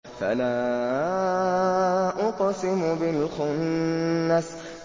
فَلَا أُقْسِمُ بِالْخُنَّسِ